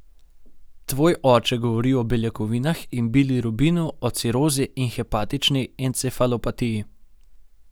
Tvoj oče govori o beljakovinah in bilirubinu, o cirozi in hepatični encefalopatiji.